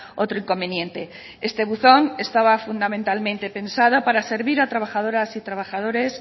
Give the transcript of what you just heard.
otro inconveniente este buzón estaba fundamentalmente pensado para servir a trabajadoras y trabajadores